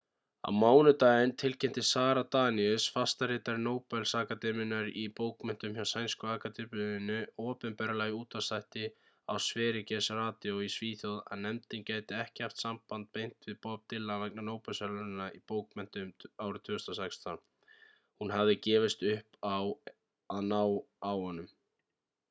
á mánudag tilkynnti sara danius fastaritari nóbelsakademíunnar í bókmenntum hjá sænsku akademíunni opinberlega í útvarpsþætti á sveriges radio í svíþjóð að nefndin gæti ekki haft samband beint við bob dylan vegna nóbelsverðlaunanna í bókmenntum 2016. hún hafði gefist upp á að ná á honum